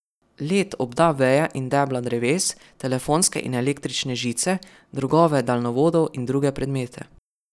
Led obda veje in debla dreves, telefonske in električne žice, drogove daljnovodov in druge predmete.